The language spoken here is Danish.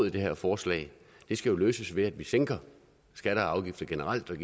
i det her forslag skal jo løses ved at vi sænker skatter og afgifter generelt